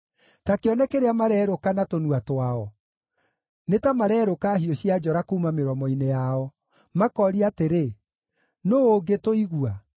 Ta kĩone kĩrĩa marerũka na tũnua twao, nĩ ta marerũka hiũ cia njora kuuma mĩromo-inĩ yao, makooria atĩrĩ, “Nũũ ũngĩtũigua?”